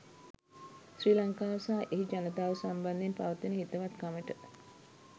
ශ්‍රී ලංකාව සහ එහි ජනතාව සම්බන්ධයෙන් පවතින හිතවත්කමට.